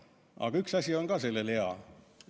Aga üks asi on sellega ka hea.